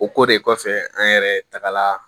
O ko de kɔfɛ an yɛrɛ tagala